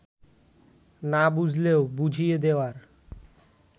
না বুঝলেও বুঝিয়ে দেওয়ার